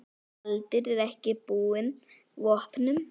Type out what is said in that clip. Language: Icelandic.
Baldur er ekki búinn vopnum.